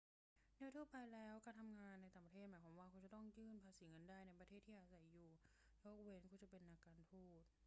โดยทั่วไปแล้ว การทำงานในต่างประเทศหมายความว่าคุณจะต้องยื่นภาษีเงินได้ในประเทศที่อาศัยอยู่ ยกเว้นว่าคุณจะเป็นนักการทูต